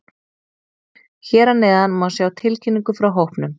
Hér að neðan má sjá tilkynningu frá hópnum.